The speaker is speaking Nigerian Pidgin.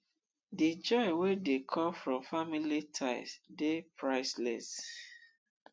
di joy wey dey come from family ties dey priceless